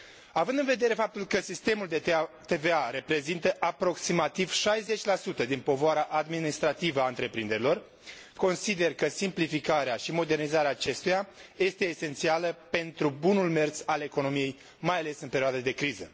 Având în vedere faptul că sistemul de TVA reprezintă aproximativ 60 din povara administrativă a întreprinderilor, consider că simplificarea și modernizarea acestuia este esențială pentru bunul mers al economiei, mai ales în perioada de criză.